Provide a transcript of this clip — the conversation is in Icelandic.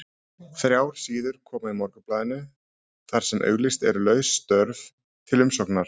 Þrjár síður koma í Morgunblaðinu þar sem auglýst eru laus störf til umsóknar.